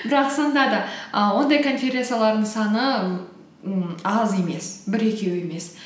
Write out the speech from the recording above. бірақ сонда да і ондай конференциялардың саны м аз емес бір екеу емес